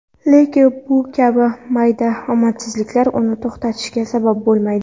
Lekin bu kabi mayda omadsizliklar uni to‘xtashiga sabab bo‘lmaydi.